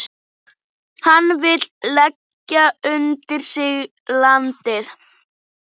Hann vill leggja undir sig landið.